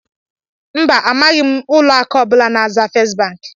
mba, amaghị m ụlọ akụ ọ bụla n'aza "First bank"